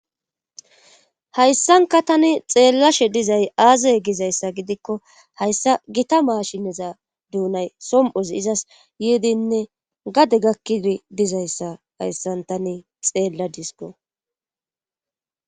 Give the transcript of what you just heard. Hayssanka tani xeellashe dizay aazey gizayssa gidikko hayssa gita maashineza duunay som'ozi izas yeedinne gade gakkidi dizayssa hayssan tani xeella disko.